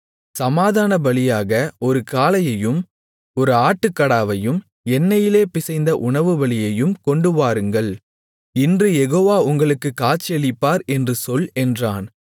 சமாதானபலிகளாக ஒரு காளையையும் ஒரு ஆட்டுக்கடாவையும் எண்ணெயிலே பிசைந்த உணவுபலியையும் கொண்டுவாருங்கள் இன்று யெகோவா உங்களுக்குக் காட்சியளிப்பார் என்று சொல் என்றான்